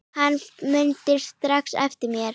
Hann mundi strax eftir mér.